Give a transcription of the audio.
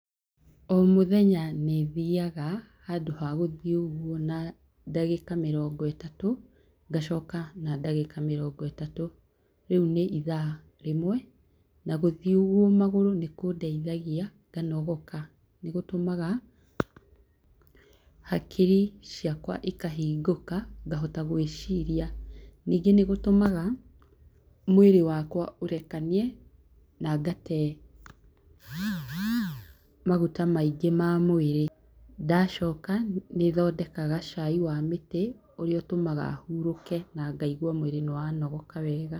O mũthenya nĩ thiaga, handũ ha guthiĩ ũguoa na ndagĩka mĩrongo itatũ, ngacoka na ndagĩka mĩrongo itatũ, rĩu nĩ ithaa rĩmwe. Na gũthiĩ ũguo magũrũ nĩ kũndeithagia, nganogoka. Nĩ gũtũmaga hakiri ciakwa ikahingũka, ngahota gwĩciria. Ningĩ nĩ gũtũmaga mwĩrĩ wakwa ũrekanie, na ngatee maguta maingĩ ma mwĩrĩ. Ndacoka, nĩ thondekaga caai wa mĩtĩ, ũrĩa ũtũmaga hũrũke, na ngaigua mwĩrĩ nĩ wanogoka wega.